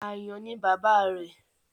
Àyàn ni bàbá rẹ̀.